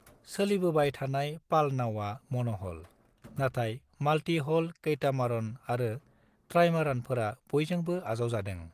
सोलिबोबाय थानाय पालनावआ मन'हल, नाथाय माल्टी-हल कैटामारन आरो ट्राइमारानफोरा बयजोंबो आजावजादों।